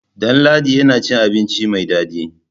Ɗanladi yana cin abinci mai dadi.